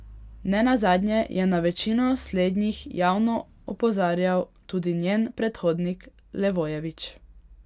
Ne nazadnje je na večino slednjih javno opozarjal tudi njen predhodnik Levojević.